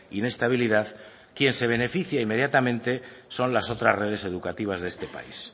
inestabilidad quien se beneficia inmediatamente son las otras redes educativas de este país